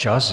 Čas!